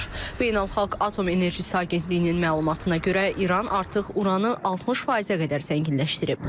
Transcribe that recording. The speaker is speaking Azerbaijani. Beynəlxalq Atom Enerjisi Agentliyinin məlumatına görə, İran artıq Uranı 60%-ə qədər zənginləşdirib.